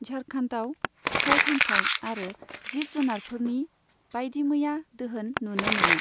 झारखन्डआव फिथाइ सामथाइ आरो जिब जुनारफोरनि बायदिमैया दोहोन नुनो मोनो।